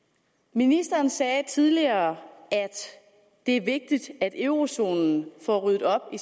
ministeren sagde tidligere at det er vigtigt at eurozonelandene får ryddet op i